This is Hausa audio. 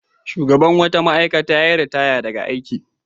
Shugaban wata ma'aikata ya yi ritaya daga aiki.